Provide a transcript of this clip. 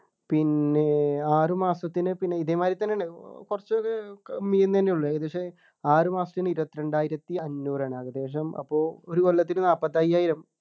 പിന്നെ ആറു മാസത്തിനു പിന്നെ ഇതേമാതിരി തന്നെയാണ് കുറച്ചൊക്കെ തന്നെയുള്ളു ഏകദേശം ആറു മാസത്തിനു ഇരുപത്തിരണ്ടായിരത്തി അഞ്ഞൂറാണ് ഏകദേശം അപ്പൊ ഒരു കൊല്ലത്തിനു നാല്പത്തിഅയ്യായിരം